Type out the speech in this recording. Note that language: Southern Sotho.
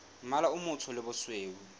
mmala o motsho le bosweu